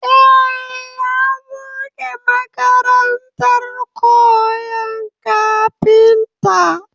Eh, ya buɗe makarantar koyan kafinta